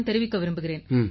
தெரிவிக்க விரும்புகிறேன்